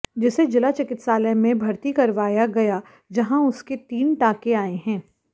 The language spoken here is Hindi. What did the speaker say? जिसे जिला चिकित्सालय में भर्ती करवाया गया जहां उसे तीन टांके आए हैं